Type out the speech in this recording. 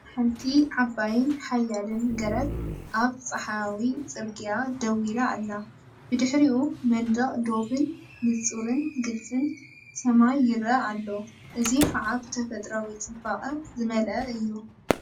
ሓንቲ ዓባይን ሓያልን ገረብ ኣብ ጸሓያዊ ጽርግያ ደው ኢላ ኣላ። ብድሕሪኡ መንደቕ ዶብን ንጹርን ግልፅን ሰማይን ይረአ ኣሎ፣ እዚ ኸኣ ብተፈጥሮኣዊ ጽባቐ ዝመልአ እዩ!